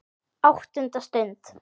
ÁTTUNDA STUND